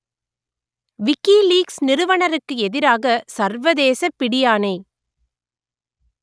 WikiLeaks நிறுவனருக்கு எதிராக சர்வதேசப் பிடியாணை